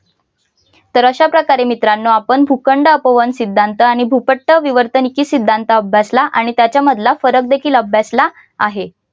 तर अशाप्रकारे मित्रानो आपण भूखंड अपवन सिद्धांत आणि भूपट्ट विवर्तनिकी सिद्धांत अभ्यासला आणि त्याच्या मधला फरक देखील अभ्यासला आहे.